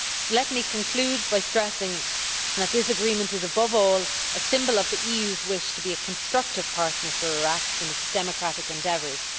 Let me conclude by stressing that this agreement is above all, a symbol of the EU's wish to be a constructive partner for Iraq in its democratic endeavours.